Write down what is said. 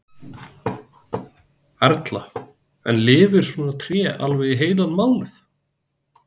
Erla: En lifir svona tré alveg í heilan mánuð?